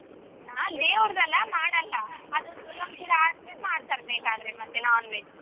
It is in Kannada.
ನಾವ್ ದೇವ್ರದ್ದಲ್ಲ ಮಾಡಲ್ಲ ಅದು ಮಾಡ್ತಾರ್ ಬೇಕಾದ್ರೆ ಮತ್ತೆ non-veg .